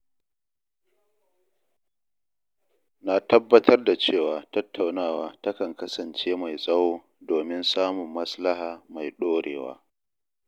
Na tabbatar da cewa tattaunawa takan kasance mai tsawo domin samun maslaha mai ɗorewa.